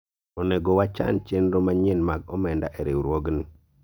onego wachan chenro manyien mag omenda e riwruogni